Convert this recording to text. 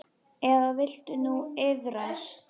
Eða viltu nú iðrast?